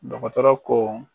Dɔkɔtɔrɔ ko